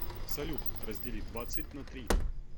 салют раздели двадцать на три